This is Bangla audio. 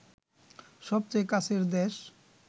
সবচেয়ে কাছের দেশ